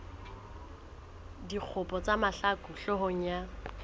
dikgopo tsa mahlaku hloohong ya